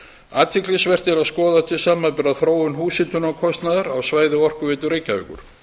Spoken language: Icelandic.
athyglisvert er að skoða til samanburðar þróun húshitunarkostnaðar á svæði orkuveitu reykjavíkur